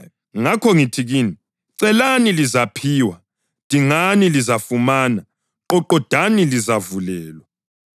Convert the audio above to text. Ngakho ngithi kini: Celani lizaphiwa; dingani lizafumana; qoqodani lizavulelwa.